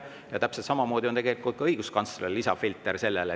Ja täpselt samamoodi on ka õiguskantsler selle lisafilter.